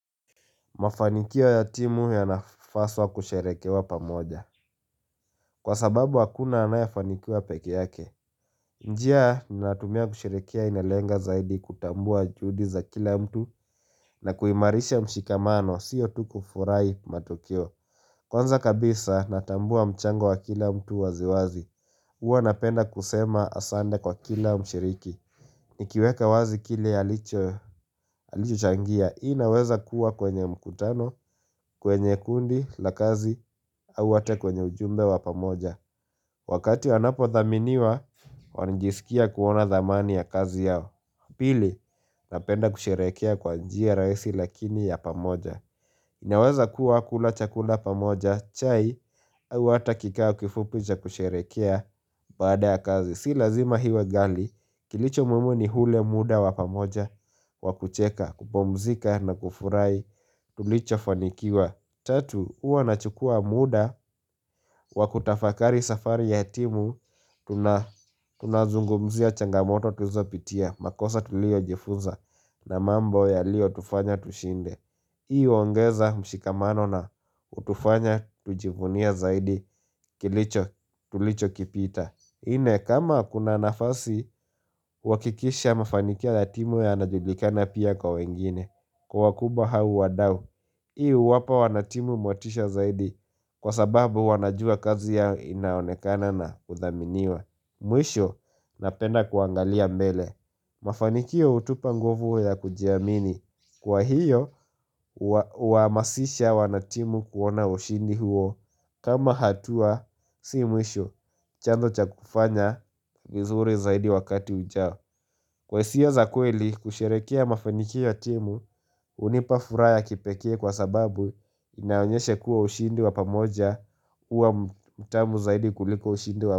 Mafanikio ya timu yanafaswa kusherekewa pamoja Kwa sababu hakuna anayefanikiwa pekee yake njia ninatumia kusherekea inalenga zaidi kutambua juhudi za kila mtu na kuimarisha mshikamano sio tu kufurahi matokeo Kwanza kabisa natambua mchango wa kila mtu waziwazi huwa napenda kusema asande kwa kila mshiriki Nikiweka wazi kile alicho changia inaweza kuwa kwenye mkutano kwenye kundi la kazi au hata kwenye ujumbe wa pamoja Wakati wanapothaminiwa wanajisikia kuona dhamani ya kazi yao Pili napenda kusherehekea kwa njia rahisi lakini ya pamoja inaweza kuwa kula chakula pamoja chai au hata kikao kifupi cha kusherekea bada ya kazi Si lazima hiwe ghali, kilichomuhimu ni hule muda wa pamoja wa kucheka, kupumzika na kufurahi, tulicho fanikiwa Tatu, huwa nachukua muda wa kutafakari safari ya timu, tunazungumzia changamoto tulizopitia, makosa tuliojifunza na mambo yaliyotufanya tushinde hiyo ongeza mshikamano na hutufanya tujivunie zaidi, kilicho tulichokipita Ine kama kuna nafasi kuhakikisha mafanikio ya timu yanajulikana pia kwa wengine Kwa wakubwa hau wadau Hii huu huwapa wanatimu motisha zaidi kwa sababu wanajua kazi yao inaonekana na kudhaminiwa Mwisho napenda kuangalia mbele Mafanikio hutupa nguvu ya kujiamini Kwa hiyo kuamasisha wanatimu kuona ushindi huo kama hatua si mwisho chanzo cha kufanya vizuri zaidi wakati ujao Kwa hisia za kweli kusherekea mafanikio ya timu hunipafuraha ya kipekee kwa sababu inaonyesha kuwa ushindi wa pamoja huwa mtamu zaidi kuliko ushindi wa.